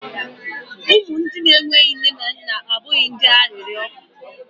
umu mgbei abụghị ndị arịrịọ